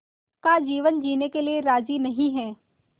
का जीवन जीने के लिए राज़ी नहीं हैं